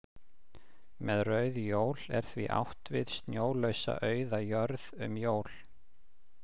Með rauð jól er því átt við snjólausa auða jörð um jól.